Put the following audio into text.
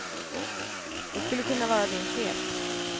Det skulle kunna vara din chef.